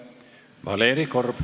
Valeri Korb.